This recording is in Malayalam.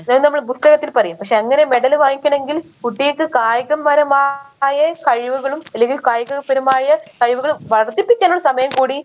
അന്നേരം നമ്മള് പുസ്തകത്തിൽ പറയും പക്ഷെ അങ്ങനെ medal വാങ്ങിക്കണെങ്കിൽ കുട്ടികക്ക് കായികപരമായ കഴിവുകളും അല്ലെങ്കിൽ കായിക പരമായ കഴിവുകൾ വളർത്തിപ്പിക്കണ സമയം കൂടി